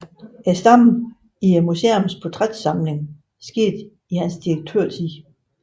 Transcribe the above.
Stammen i museets portrætsamling skete i hans direktørtid